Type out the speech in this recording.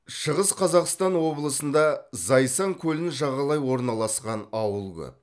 шығыс қазақстан облысында зайсан көлін жағалай орналасқан ауыл көп